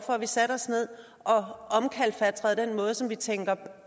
at vi satte os ned og omkalfatrede den måde som vi tænker